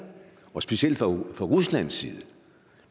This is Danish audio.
og specielt fra ruslands side